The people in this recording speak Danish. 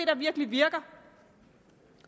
der virkelig virker